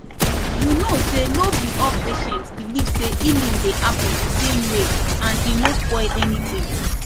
you know say no be all patients believe say healing dey happen the same way and e no spoil anything